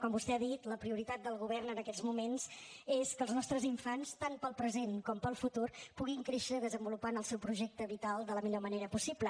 com vostè ha dit la prioritat del govern en aquests moments és que els nostres infants tant pel present com pel futur puguin créixer desenvolupant el seu projecte vital de la millor manera possible